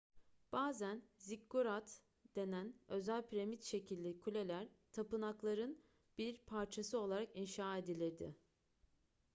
bazen ziggurat denen özel piramit şekilli kuleler tapınakların bir parçası olarak inşa edilirdi